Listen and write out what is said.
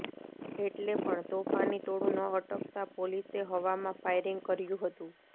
એટલે પણ તોફાની ટોળું ન અટકતાં પોલીસે હવામાં ફાયરિંગ કર્યું હતું